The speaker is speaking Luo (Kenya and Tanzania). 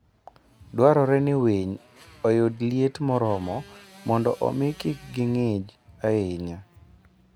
Dwarore ni winy oyud liet moromo mondo omi kik ging'ich ahinya.